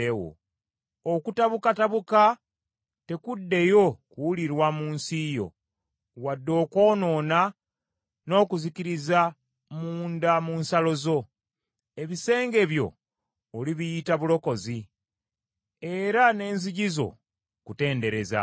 Okutabukatabuka tekuddeyo kuwulirwa mu nsi yo, wadde okwonoona n’okuzikiriza munda mu nsalo zo. Ebisenge byo olibiyita Bulokozi, Era n’enzigi zo, Kutendereza.